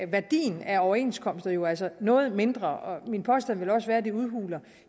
værdien af overenskomsterne jo altså noget mindre min påstand vil også være at det udhuler